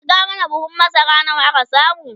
kirga mana buhun masara nawa aka samu!